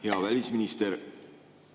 Hea välisminister!